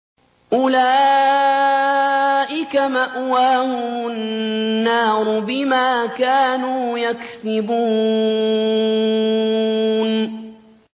أُولَٰئِكَ مَأْوَاهُمُ النَّارُ بِمَا كَانُوا يَكْسِبُونَ